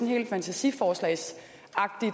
helt fantasiforslagsagtigt